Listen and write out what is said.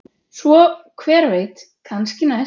Svo hver veit, kannski næst?